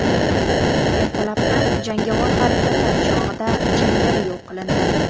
Ertalabdan jangovar harakatlar chog‘ida jangari yo‘q qilindi.